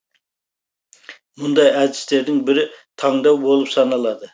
мұндай әдістердің бірі таңдау болып саналады